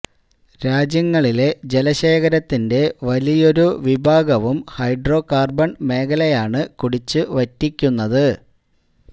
രാജ്യങ്ങളിലെ ജല ശേഖരത്തിന്റെ വലിയൊരു വിഭാഗവും ഹൈഡ്രോ കാര്ബണ് മേഖലയാണ് കുടിച്ചു വറ്റിക്കുന്നത്